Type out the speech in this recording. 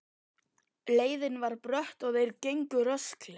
Leiðin var brött og þeir gengu rösklega.